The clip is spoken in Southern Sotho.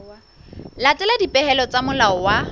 latela dipehelo tsa molao wa